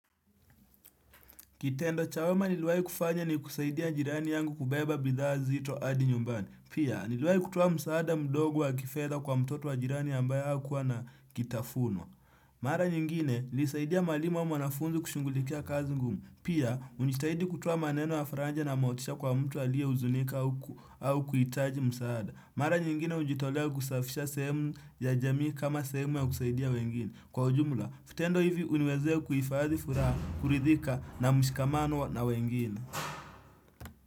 Kitendo cha wema niliwahi kufanya ni kusaidia jirani yangu kubeba bidhaa nzito hadi nyumbani. Pia, niliwahi kutoa msaada mdogo wa kifedha kwa mtoto wa jirani ambaye hakuwa na kitafunwa. Mara nyingine, nilisaidia mwalimu au mwanafunzi kushungulikia kazi ngumu. Pia, unitahidi kutoa maneno ya faraja na motisha kwa mtu aliyehuzunika au kuhitaji msaada. Mara nyingine, hujitolea kusafisha sehemu ya jamii kama sehemu ya kusaidia wengine. Kwa ujumla, vitendo hivi huniwezea kuhifadhi furaha, kuridhika na mshikamano na wengine.